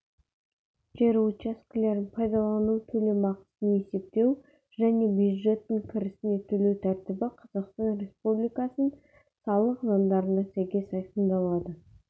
жер учаскелерін пайдалану төлемақысын есептеу және бюджеттің кірісне төлеу тәртібі қазақстан республикасының салық заңдарына сәйкес айқындалады